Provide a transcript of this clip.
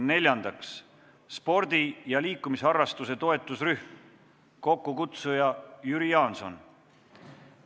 Neljandaks, spordi ja liikumisharrastuse toetusrühm, kokkukutsuja on Jüri Jaanson.